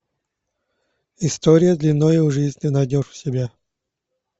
история длинною в жизнь ты найдешь у себя